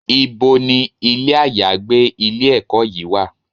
Ibo ni ilé àyágbé ilé-ẹ̀kọ́ yìí wà?